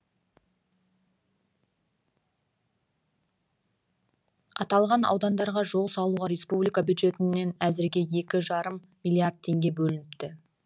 аталған аудандарға жол салуға республика бюджетінен әзірге екі жарым миллиард теңге бөлініпті